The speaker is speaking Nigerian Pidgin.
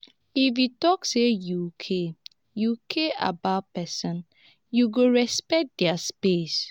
if you talk say you care you care about pesinn you go respect their space.